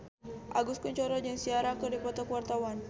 Agus Kuncoro jeung Ciara keur dipoto ku wartawan